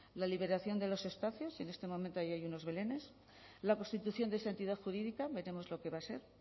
la liberación de los espacios y en este momento hay allí unos belenes la constitución de esa entidad jurídica veremos lo que va a ser